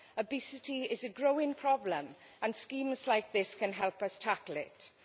Obesity is a growing problem and schemes like this can help us tackle it.